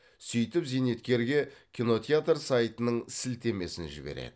сөйтіп зейнеткерге кинотеатр сайтының сілтемесін жібереді